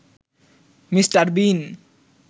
mister বিন